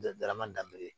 darama danbe